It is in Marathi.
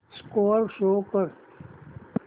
स्कोअर शो कर